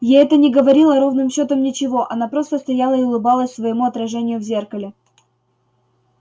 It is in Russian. ей это не говорило ровным счётом ничего она просто стояла и улыбалась своему отражению в зеркале